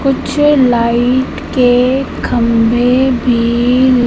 कुछ लाइट के खंभे भी--